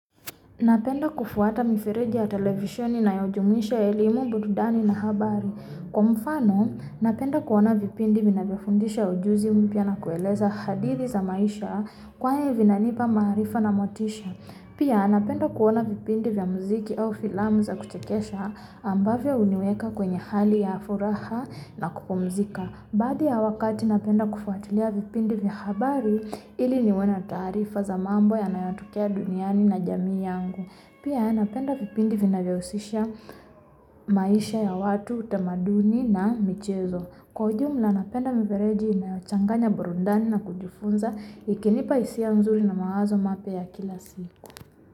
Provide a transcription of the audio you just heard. Napenda kufuata mifereji ya televisheni inayojumuisha elimu burudani na habari Kwa mfano napenda kuaona vipindi vinavyo fundisha ujuzi mpya na kueleza hadithi za maisha kwani vina nipa maarifa na motisha Pia na penda kuona vipindi vya muziki au filamu za kuchekesha ambavyo huniweka kwenye hali ya furaha na kupumzika Baadhi ya wakati na penda kufuatilia vipindi vya habari ili niwe na taarifaza mambo yanayo tokea duniani na jamii yangu Pia na penda vipindi vinavyohusisha maisha ya watu utamaduni na michezo Kwa ujumula napenda mifireji inayochanganya burundani na kujifunza, ikinipa hisia nzuri na mawazo mapya ya kila siku.